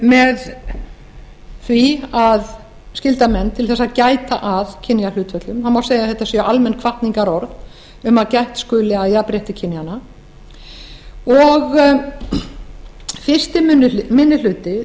með því að skylda menn til þess að gæta að kynjahlutföllum það má segja að þetta séu almenn hvatningarorð um að gætt skuli að jafnrétti kynjanna fyrsti minni hluti